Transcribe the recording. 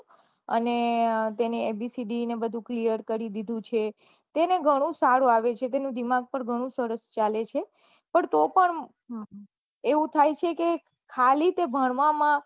અને તેને ABCD અને બઘુ clear કરી દીઘું છે તેને સારું આવડે છે તેનું દિમાગ પન ઘણું સરસ ચાલે છે પન તો પન એવું થય છે કે ખાલી તે ભણવા માં